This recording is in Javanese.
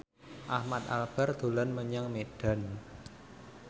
Ahmad Albar dolan menyang Medan